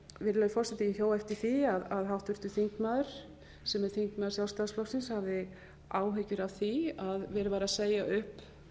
virðulegi forseti ég hjó eftir því að háttvirtur þingmaður sem er þingmaður sjálfstæðisflokksins hafði áhyggjur af því að verið væri að segja upp